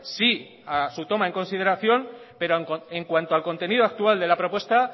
sí a su toma en consideración pero en cuanto al contenido actual de la propuesta